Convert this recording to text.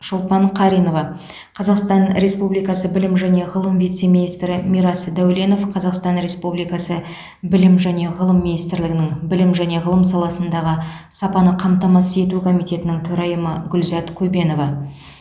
шолпан қаринова қазақстан республикасы білім және ғылым вице министрі мирас дәуленов қазақстан респуубликасы білім және ғылым министрлігінің білім және ғылым саласындағы сапаны қамтамасыз ету комитетінің төрайымы гүлзат көбенова